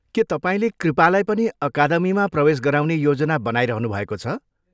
के तपाईँले कृपालाई पनि अकादमीमा प्रवेश गराउने योजना बनाइरहनु भएको छ?